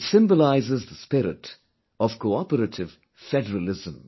It symbolises the spirit of cooperative federalism